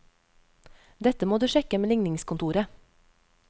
Dette må du sjekke med ligningskontoret.